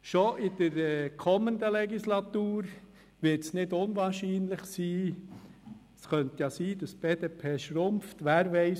Schon im Hinblick auf die kommende Legislatur wird es nicht unwahrscheinlich sein, dass die BDP schrumpft, wer weiss.